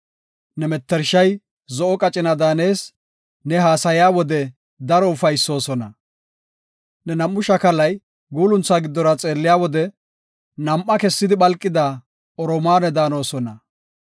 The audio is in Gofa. Ne mettershay zo7o qacina daanees; ne haasaya wode daro ufaysoosona. Ne nam7u shakalay guulunthaa giddora xeelliya wode, nam7a kessidi phalqida oromaane daanosona.